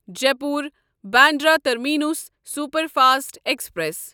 Jaipur Bandra terminus superfast express